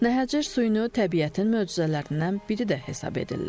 Nəhəcir suyunu təbiətin möcüzələrindən biri də hesab edirlər.